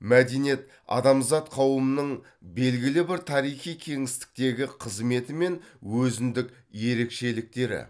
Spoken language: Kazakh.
мәдениет адамзат қауымының белгілі бір тарихи кеңістіктегі қызметі мен өзіндік ерекшеліктері